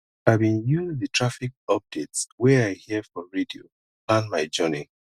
i bin use di traffic updates wey i hear for radio plan my journey